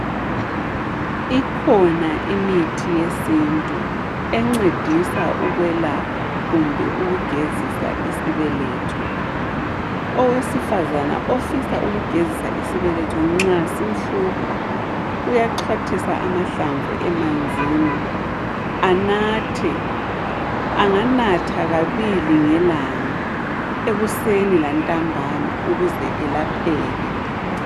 Ikhona imithi yesintu encedisa ukwelapha kumbe ukugezisa isibeletho, owesifazana ofisa ukugezisa isibeletho nxa simhlupha uyaxhwathisa amahlamvu emanzini anathe anganatha kabili ngelanga ekuseni lantambama ukuze elapheke.